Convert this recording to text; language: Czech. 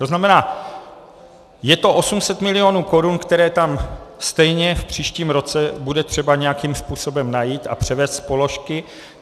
To znamená, je to 800 milionů korun, které tam stejně v příštím roce bude třeba nějakým způsobem najít a převést z položky.